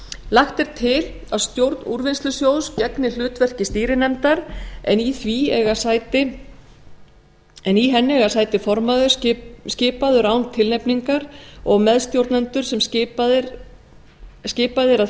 lagt er til að stjórn úrvinnslusjóðs gegni hlutverki stýrinefndar en í henni eiga sæti formaður skipaður án tilnefningar og meðstjórnendur sem skipaðir eru að